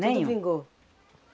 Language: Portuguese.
Tudo vingou?